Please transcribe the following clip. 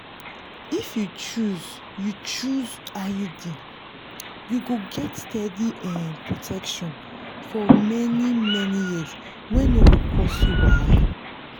if you choose you choose iud you go get steady um protection for many-many years wey no go cause you wahala.